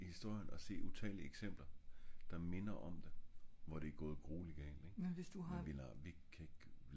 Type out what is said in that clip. i historien og se utallige eksempler der minder om det hvor det er gået grueligt galt ik